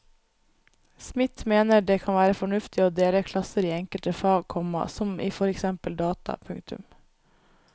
Smidt mener det kan være fornuftig å dele klasser i enkelte fag, komma som i for eksempel data. punktum